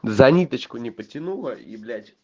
за ниточку не потянула и блять